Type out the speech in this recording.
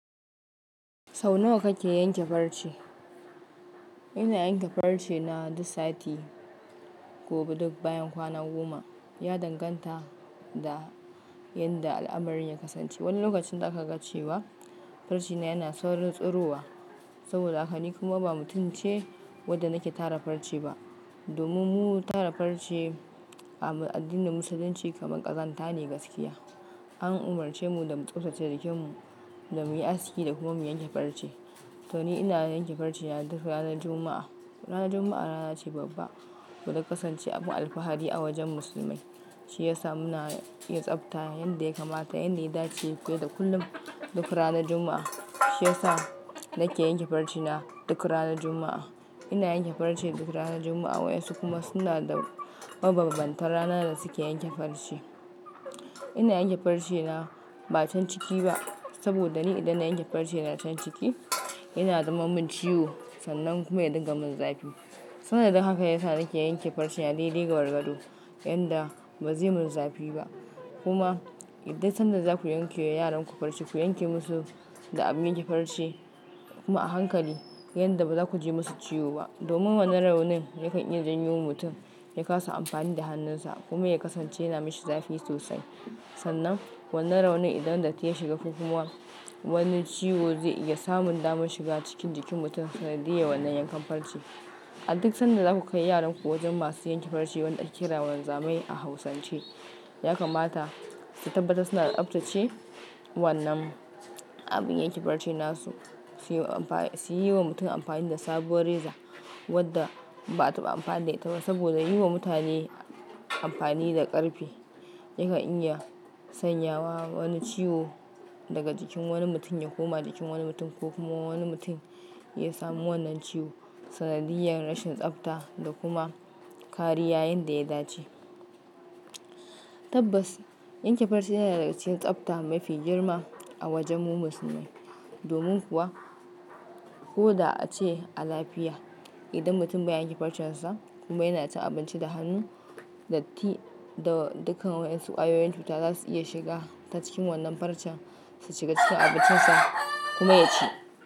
Sau nawa kake yanke farce? Ina yanke farce na duk sati, gobe duk bayan kwana goma. Ya danganta da yadda al'amarin ya kasance. Wani lokacin za ka gan cewa farce na yana saurin tsirowa, saboda haka ni kuma ba mutumce wadda nake tara farce ba. Domin mu tara farce a addinin Musulunci kamar ƙazanta ne gaskiya. An umarce mu da mu tsabtace jikinmu, da muyi aski da kuma mu yanke farce. To ni ina yanke farce na duk ranar Juma'a. Ranar Juma'a rana ce babba, koda kasance abin alfahari a wajen musulmai. Shi yasa muna iya tsabta yanda ya kamata, yanda ya dace, fiye da kullum duk ranar Juma'a. Shi yasa nake yanke farce na duk ranar Juma'a. Ina yanke farce duk ranar Juma'a, wayansu kuma suna da mabambantan rana da suke yanke farce. Ina yanke farce na ba can ciki ba, saboda ni idan na yanke farce na can ciki, yana zama min ciwo, sannan kuma ya dinga min zafi. Sannan daga haka yasa nake yanke farce na daidai gagargado, yadda bazai min zafi ba. Kuma idan sanda zaku yanke wa yaran ku farce, ku yanke musu da abin yanke farce kuma a hankali, yadda baza ku ji musu ciwo ba. Domin wannan raunin yakan iya janyo wa mutum, ya kasa amfani da hannunsa kuma ya kasance yana mashi zafi sosai. Sannan wannan raunin idan data yi shiga ko kuma, wani ciwo zai iya samun damar shiga cikin jikin mutum sanadiyya wannan yankan farce. An duk sanda zaku kai yaranku wajen masu yanke farce wanda ake kira wanzamai a Hausance, ya kamata su tabbata suna tsaftace wannan abin yanke farce nasu. Su yi wa mutum amfani da sabuwar reza, wadda bata ba amfani da ita ba. Saboda yi wa mutane amfani da ƙarfe, yakan iya sanyawa wani ciwo daga jikin wani mutum ya koma jikin wani mutum, ko kuma wani mutum ya samu wannan ciwo sanadiyar rashin tsafta da kuma kariya yanda ya dace. Tabbas, yanke farce yana daga cikin tsafta mafi girma a wajen mu musulmai. Domin kuwa koda ace a lafiya, idan mutum ba yanke farcen sa kuma yana ta abinci da hannu, datti da dukkan wayansu ƙwayoyin cuta zasu iya shiga ta cikin wannan farcen, su shiga cikin abincinsa kuma ya ci.